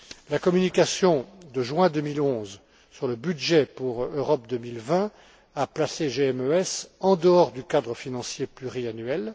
La communication de juin 2011 sur le budget pour Europe 2020 a placé GMES en dehors du cadre financier pluriannuel.